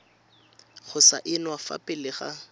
go saenwa fa pele ga